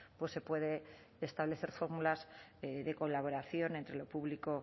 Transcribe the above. pues se puede establecer fórmulas de colaboración entre lo público